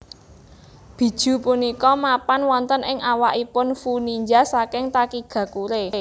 Bijuu punika mapan wonten ing awakipun Fuu ninja saking Takigakure